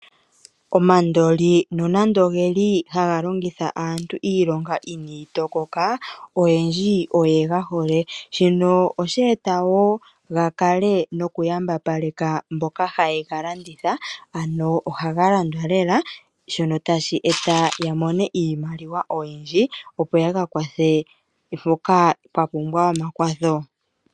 Omandoli nonande ogeli haga longitha aantu iilonga inayi tokoka, oyendji oyega hole. Shino osheeta woo gakale noku yambapaleka mboka haye galanditha. Ano ohaga landwa lela shono tashi eta yamone iimaliwa oyindji opo yaka kwathe mpoka pwa pumbwa omakwatho.